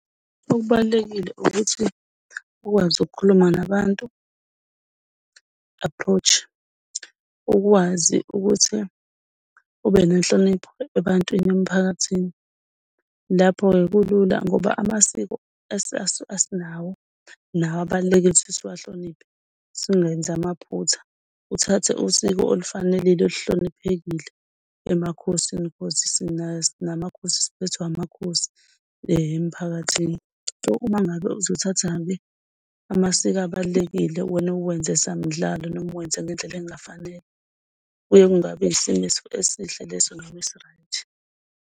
Okubalulekile ukuthi ukwazi ukukhuluma nabantu, approach, ukwazi ukuthi ube nenhlonipho ebantwini emiphakathini. Lapho-ke kulula ngoba amasiko asinawo nawo abalulekile ukuthi siwahloniphe singenzi amaphutha. Uthathe usiko olufanelile oluhloniphekile emakhosini because sinamakhosi, siphethwe amakhosi emiphakathini. So, uma ngabe uzothatha-ke amasiko abalulekile wena uwenze samdlalo, noma uwenze ngendlela engafanele, kuye kungabi isimo esihle leso noma esi-rght.